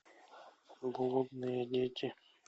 голодные дети